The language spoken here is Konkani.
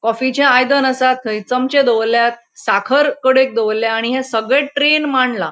कॉफीचे आयदन आसा थैय चमचे दोवोरलयात. साखर कडेक दोवोरल्यात आणि ये सगळे ट्रैन माण्डला .